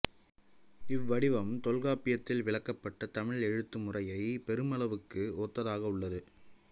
இவ்வடிவம் தொல்காப்பியத்தில் விளக்கப்பட்ட தமிழ் எழுத்து முறையைப் பெருமளவுக்கு ஒத்ததாக உள்ளது